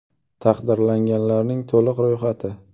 Taqdirlanganlarning to‘liq ro‘yxati.